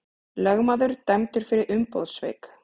Lögmaður dæmdur fyrir umboðssvik